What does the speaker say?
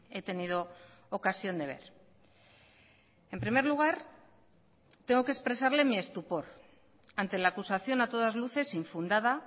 he tenido ocasión de ver en primer lugar tengo que expresarle mi estupor ante la acusación a todas luces infundada